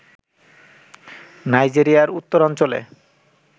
নাইজেরিয়ার উত্তরাঞ্চলে